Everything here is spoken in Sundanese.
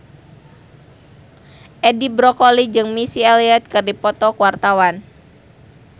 Edi Brokoli jeung Missy Elliott keur dipoto ku wartawan